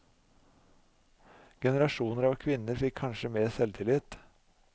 Generasjoner av kvinner fikk kanskje mer selvtillit.